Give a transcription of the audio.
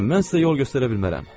Nənə, mən sizə yol göstərə bilmərəm.